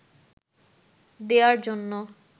দেয়ার জন্য